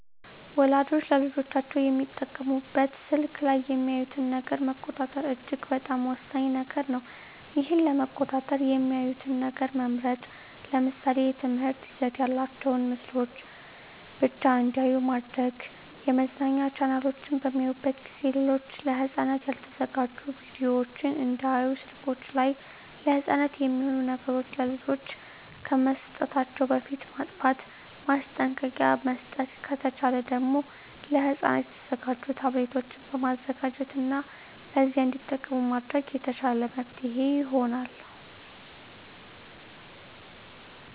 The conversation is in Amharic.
ወላጆች ለልጆቻቸው የሚጠቀሙበት ስልክ ላይ የሚያዩትን ነገር መቆጣጠር እጅግ በጣም ወሳኝ ነገር ነው ይህን ለመቆጣጠር የሚያዩትን ነገር መምረጥ ለምሳሌ የትምህርት ይዘት ያላቸውን ምስሎችን ብቻ እንዲያዩ ማድረግ የመዝናኛ ቻናሎችን በሚያዩበት ጊዜ ሌሎች ለህፃናት ያልተዘጋጁ ቪዲዮወችን እንዳያዩ ስልከችን ላይ ለህፃናት የማይሆኑ ነገሮች ለልጆች ከመስጠታችን በፊት ማጥፍት ማስጠንቀቂያ መስጠት ከተቻለ ደግም ለህፃናት የተዘጋጁ ታብሌቶችን መዘጋጀት እና በዚያ እንዲጠቀሙ ማድረግ የተሻለ መፍትሔ ይሆናል።